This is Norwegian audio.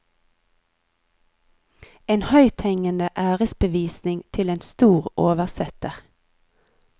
En høythengende æresbevisning til en stor oversetter.